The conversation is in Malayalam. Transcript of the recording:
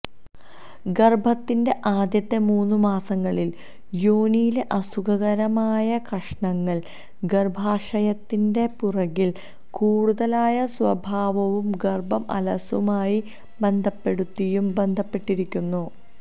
ഗർഭത്തിൻറെ ആദ്യത്തെ മൂന്നുമാസങ്ങളിൽ യോനിയിലെ അസുഖകരമായ കഷണങ്ങൾ ഗർഭാശയത്തിൻറെ പുറകിൽ കൂടുതലായ സ്വഭാവവും ഗർഭം അലസലുമായി ബന്ധപ്പെടുത്തിയും ബന്ധപ്പെട്ടിരിക്കുന്നു